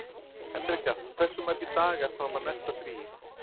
Henrika, hversu margir dagar fram að næsta fríi?